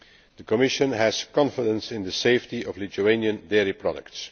The Commission has confidence in the safety of Lithuanian dairy products.